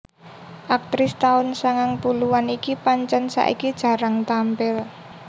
Aktris taun sangang puluhan iki pancen saiki jarang tampil